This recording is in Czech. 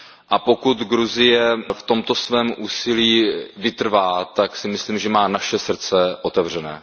A pokud Gruzie v tomto svém úsilí vytrvá, tak si myslím, že má naše srdce otevřené.